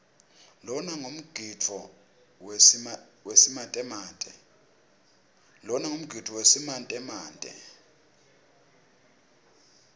lona ngumgidvo wesimantemante